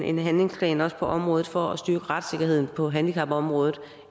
en handlingsplan på området for at styrke retssikkerheden på handicapområdet